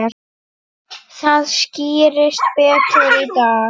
Það skýrist betur í dag.